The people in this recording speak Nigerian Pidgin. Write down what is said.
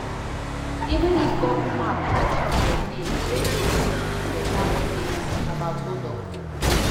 Even if Google map and GPS dey, radio fit give better update about hold up